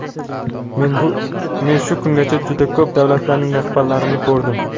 Men shu kungacha juda ko‘p davlatlarning rahbarlarini ko‘rdim.